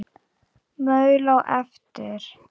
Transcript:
Maul á eftir.